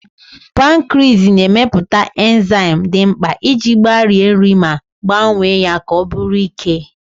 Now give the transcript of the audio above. Pankriis na-emepụta enzaịm dị mkpa iji gbarie nri ma gbanwee ya ka ọ bụrụ ike.